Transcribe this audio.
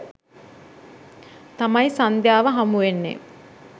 තමයි සන්ධ්‍යාව හමු වෙන්නේ.